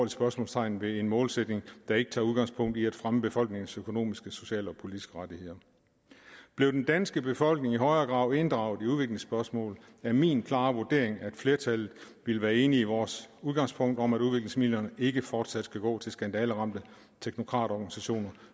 spørgsmålstegn ved en målsætning der ikke tager udgangspunkt i at fremme befolkningens økonomiske sociale og politiske rettigheder blev den danske befolkning i højere grad inddraget i udviklingsspørgsmål er det min klare vurdering at flertallet ville være enig i vores udgangspunkt om at udviklingsmidlerne ikke fortsat skal gå til skandaleramte teknokratorganisationer